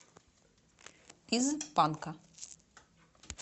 из панка